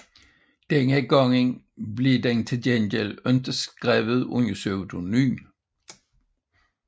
Denne gang blev den til gengæld ikke skrevet under pseudonym